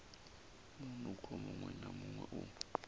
munukho muṅwe na muṅwe u